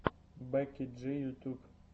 бекки джи ютуб